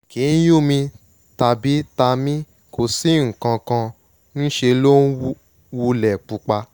kìí yún mi tàbí ta mí kò sí nǹkan kan ńṣe ló wulẹ̀ pupa